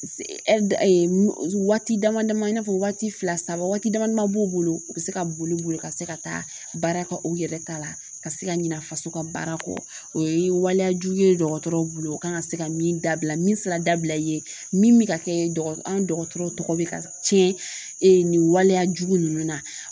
Waati dama dama i n'a fɔ waati fila saba waati damadɔ b'u bolo u bɛ se ka boli u bolo ka se ka taa baara kɛ u yɛrɛ ta la ka se ka ɲina faso ka baara kɔ o ye waliyajugu ye dɔgɔtɔrɔw bolo u kan ka se ka min dabila min sira dabila i ye min ka kɛ an dɔgɔtɔrɔ tɔgɔ bɛ ka tiɲɛ ni waleya jugu ninnu na